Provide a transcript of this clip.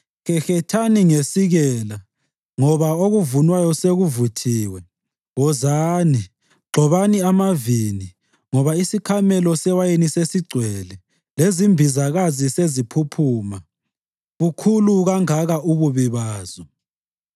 Hehethani ngesikela ngoba okuvunwayo sekuvuthiwe. Wozani, gxobani amavini, ngoba isikhamelo sewayini sesigcwele lezimbizakazi seziphuphuma, bukhulu kangaka ububi bazo!